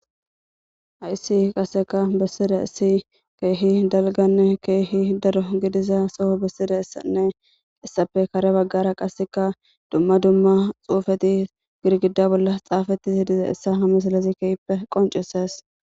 hayssi qaseka bessiraysi keehi dalganne keehi daro gidiza soho bessire essanne qiessafe kare baggara qaseka dumma dumma xuufeti girgida bolla xaafati siidiza issa hamesalazi kehppe qoncises